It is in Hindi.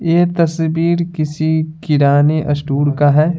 ये तस्वीर किसी किराने स्टूर का है।